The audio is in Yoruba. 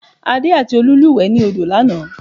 Adé àti Olú lúùwẹ́ ni odo lanàá